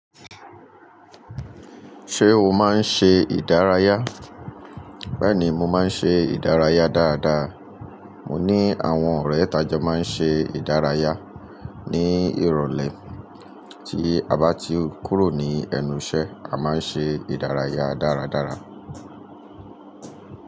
Ṣé o máa ń ṣe ìdárayá? Bẹ́ẹ̀ni, mo máa ń ṣe ìdárayá dáradára. Mo ní àwọn ọ̀rẹ́ tajo máa ń ṣe ìdárayá. Ni ìrọ̀lẹ́ tí a bá ti kúrò ní ẹnu iṣẹ́ a máa ń ṣe ìdárayá dáradára.